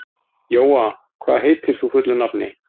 Jóa, hvað heitir þú fullu nafni?